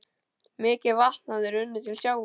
Mikið vatn hafði runnið til sjávar.